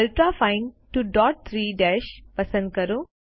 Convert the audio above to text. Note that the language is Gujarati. અલ્ટ્રાફાઇન 2 ડોટ્સ 3 ડેશ પસંદ કરો